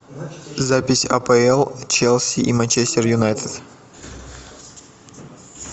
запись апл челси и манчестер юнайтед